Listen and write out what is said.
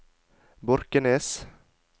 Borkenes